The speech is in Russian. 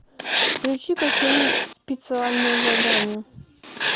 включи ка фильм специальное задание